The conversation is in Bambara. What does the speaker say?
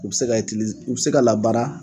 U bɛ se ka u bɛ se ka la baara.